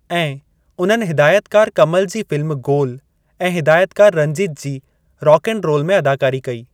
ऐं, उन्हनि हिदायतकार कमल जी फिल्मु गोल ऐं हिदायतकार Ranjit ji rock and roll में अदाकारी कई।